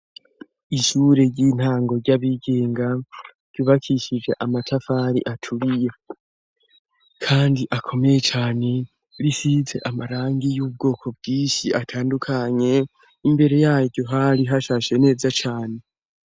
Ishure ry'intango ry'abigenga ryubakishije amatafari aturiye kandi akomeye cane, risize amarangi y'ubwoko bwishi atandukanye . Imbere yaryo hari hashashe neza cane.